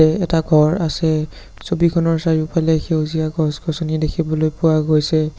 এটা ঘৰ আছে ছবিখনৰ চাৰিওফালে সেউজীয়া গছ-গছনি দেখিবলৈ পোৱা গৈছে।